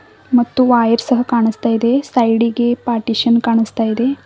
ಮತ್ತು ವೈರ್ ಸಹ ಕಾಣಸ್ತಾ ಇದೆ ಸೈಡಿ ಗೆ ಪಾರ್ಟಿಶನ್ ಕಾಣಸ್ತಾ ಇದೆ.